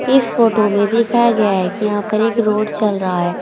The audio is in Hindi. इस फोटो में दिखाया गया है कि यहां पर एक रोड चल रहा है।